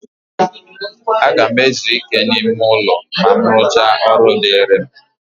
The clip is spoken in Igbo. A ga m ezu ike n'ime ụlọ ma m rụchaa ọrụ dịịrị m.